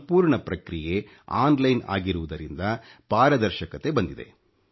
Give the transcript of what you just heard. ಸಂಪೂರ್ಣ ಪ್ರಕ್ರಿಯೆ oಟಿಟiಟಿe ಆಗಿರುವುದರಿಂದ ಪಾರದರ್ಶಕತೆ ಬಂದಿದೆ